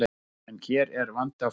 En hér er vandi á ferð.